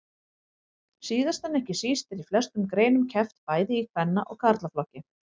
Síðast en ekki síst er í flestum greinum keppt bæði í kvenna og karlaflokki.